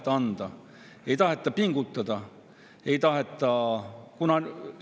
Oma panust ei taheta anda, ei taheta pingutada.